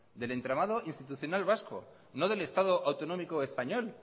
del entramado institucional vasco no del estado autonómico español